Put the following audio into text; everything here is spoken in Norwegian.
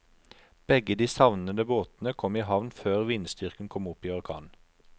Begge de savnede båtene kom i havn før vindstyrken kom opp i orkan.